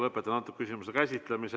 Lõpetan selle küsimuse käsitlemise.